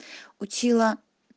учила